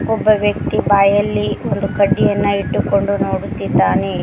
ಒಬ್ಬ ವ್ಯಕ್ತಿ ಬಾಯಲ್ಲಿ ಒಂದು ಕಡ್ಡಿಯನ್ನ ಇಟ್ಟುಕೊಂಡು ನೋಡುತ್ತಿದ್ದಾನೆ.